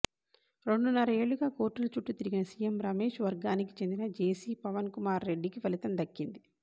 రెండున్నర ఏళ్లుగా కోర్టుల చుట్టు తిరిగిన సిఎం రమేష్ వర్గానికి చెందిన జెసి పవన్కుమార్రెడ్డికి ఫలితం దక్కింది